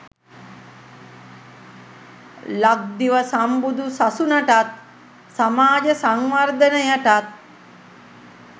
ලක්දිව සම්බුදු සසුනටත්, සමාජ සංවර්ධනයටත්